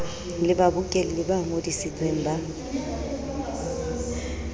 le babokelli ba ngodisitsweng ba